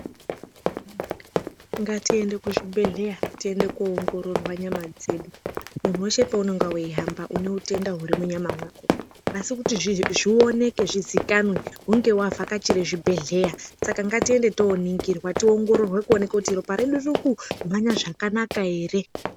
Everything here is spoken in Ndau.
Ngatiende kuzvibhehleya tiende koongororwa nyama dzedu. Munhu weshe peunenge weihamba une utenda huri munyama mwako asi kuti zvionekwe zvizikanwe hunge wavhakachire zvibhehleya. Saka ngatiyende toningirwa tongororwa kuonekwe kuti ropa redu ririkumhanya zvakanaka ere.